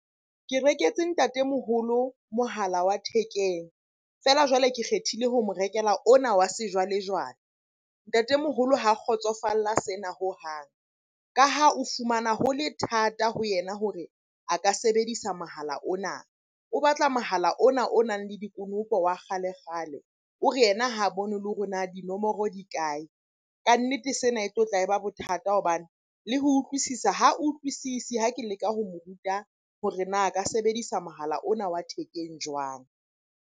Ke reketse ntatemoholo mohala wa thekeng. Feela jwale ke kgethile ho mo rekela ona wa sejwale-jwale. Ntatemoholo ha a kgotsofalla sena hohang, ka ha o fumana ho le thata ho yena hore a ka sebedisa mohala ona. O batla mohala ona o nang le dikonopo wa kgale-kgale. O re yena ha a bone le hore na dinomoro di kae? Kannete sena e tlotla e ba bothata hobane le ho utlwisisa ha utlwisisi ha ke leka ho mo ruta hore na a ka sebedisa mohala ona wa thekeng jwang?